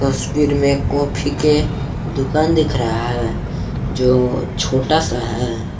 तस्वीर में कॉफी के दुकान दिख रहा है जो छोटा सा है।